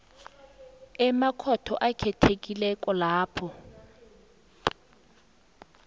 emakhotho akhethekileko lapho